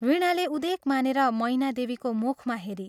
" वीणाले उदेक मानेर मैनादेवीको मुखमा हेरी।